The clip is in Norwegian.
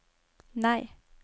nei